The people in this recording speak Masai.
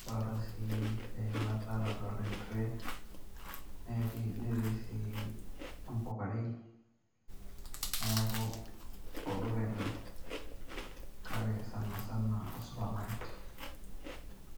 nadoolta sii eilata nadoolta en tray. netii sii impukarei. neeku olduka ele, kake sanasana o supermarket.